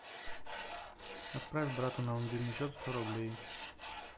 отправь брату на мобильный счет сто рублей